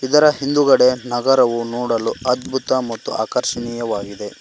ಇದರ ಹಿಂದುಗಡೆ ನಗರವು ನೋಡಲು ಅದ್ಬುತ ಮತ್ತು ಆಕರ್ಶಿನಿಯವಾಗಿದೆ.